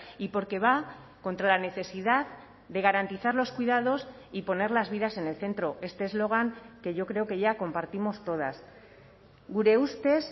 y porque va contra la necesidad de garantizar los cuidados y poner las vidas en el centro este eslogan que yo creo que ya compartimos todas gure ustez